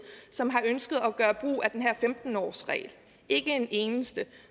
som har ønsket at gøre brug af den her femten årsregel ikke en eneste